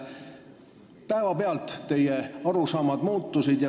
Päevapealt teie arusaamad muutusid.